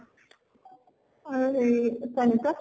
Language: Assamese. আৰু হেৰি চয়নিকা?